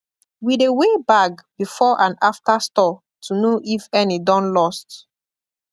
we dey weigh bag before and after store to know if any don lost